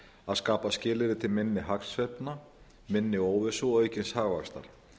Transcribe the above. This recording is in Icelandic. að skapa skilyrði til minni hagsveiflna minni óvissu og aukins hagvaxtar